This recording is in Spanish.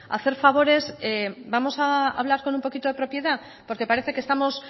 hacer favores vamos a hablar con un poquito de propiedad porque parece que estamos